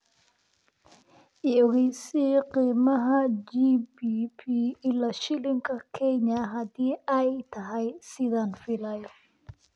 i ogeysii qiimaha gbp ilaa shilinka kenya hadii ay tahay sidaan filayo